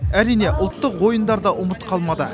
әрине ұлттық ойындар да ұмыт қалмады